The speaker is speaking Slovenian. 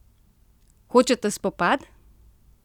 Hočete spopad?